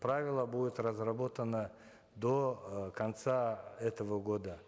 правило будет разработано до э конца этого года